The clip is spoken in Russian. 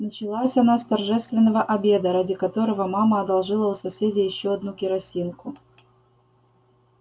началась она с торжественного обеда ради которого мама одолжила у соседей ещё одну керосинку